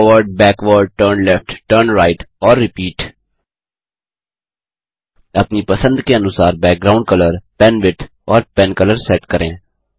forward backward turn left turn right और repeat अपनी पसंद के अनुसार बैकग्राउंड कलर पेनविड्थ और पेनकलर सेट करें